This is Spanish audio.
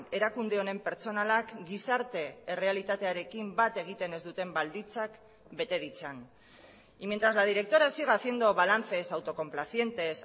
erakunde honen pertsonalak gizarte errealitatearekin bat egiten ez duten baldintzak bete ditzan y mientras la directora siga haciendo balances autocomplacientes